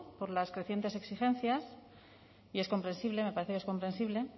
por las crecientes exigencias y es comprensible me parece que es comprensible